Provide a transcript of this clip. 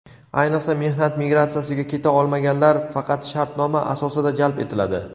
ayniqsa mehnat migratsiyasiga keta olmaganlar faqat shartnoma asosida jalb etiladi.